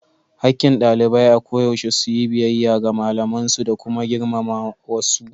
Hakkin ɗalibai a koyaushe su yi biyayya ga malamansu da kuma girmama wasu.